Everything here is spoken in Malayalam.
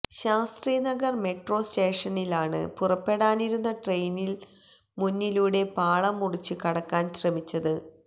ശാസ്ത്രി നഗർ മെട്രോ സ്റ്റേഷഷനിലാണ് പുറപ്പെടാനിരുന്ന ട്രെയിനിന് മുന്നിലൂടെ പാളം മുറിച്ച് കടക്കാൻ ശ്രമിച്ചത്